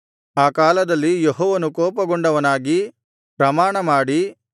ಆ ಕಾಲದಲ್ಲಿ ಯೆಹೋವನು ಕೋಪಗೊಂಡವನಾಗಿ ಪ್ರಮಾಣಮಾಡಿ